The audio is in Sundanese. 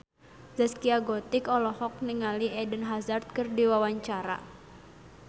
Zaskia Gotik olohok ningali Eden Hazard keur diwawancara